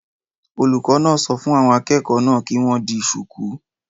Olùkọ́ náà sọ fún àwọn akẹ́kọ̀ọ́ náà kí wọ́n di shùkú